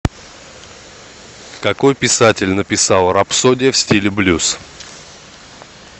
какой писатель написал рапсодия в стиле блюз